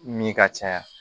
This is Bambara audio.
Min ka caya